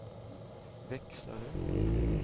växlare